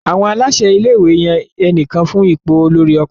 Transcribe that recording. Àwọn aláṣẹ ilé-ìwé yan ẹnìkan fún ipò olórí ọkùnrin.